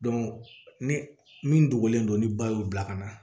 ni min dogolen don ni ba y'u bila ka na